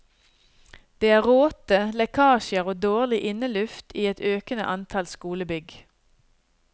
Det er råte, lekkasjer og dårlig inneluft i et økende antall skolebygg.